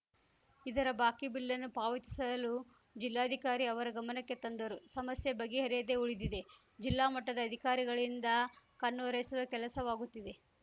ಇದರ ಬಾಕಿ ಬಿಲ್‌ನ್ನು ಪಾವತಿಸಲು ಜಿಲ್ಲಾಧಿಕಾರಿ ಅವರ ಗಮನಕ್ಕೆ ತಂದರೂ ಸಮಸ್ಯೆ ಬಗೆಹರಿಯದೇ ಉಳಿದಿದೆ ಜಿಲ್ಲಾ ಮಟ್ಟದ ಅಧಿಕಾರಿಗಳಿಂದ ಕಣ್ಣೊರೆಸುವ ಕೆಲಸವಾಗುತ್ತಿದೆ